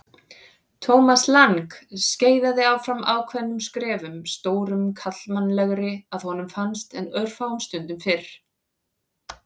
Thomas Lang skeiðaði áfram ákveðnum skrefum, stórum karlmannlegri að honum fannst en örfáum stundum fyrr.